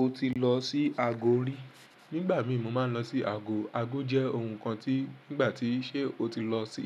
O ti lọ sí àgó rí? Nígbà mi mo máa ń lọ sí àgó. Àgó jẹ́ ohun kan tí nígbà tí ṣe o ti lọ sí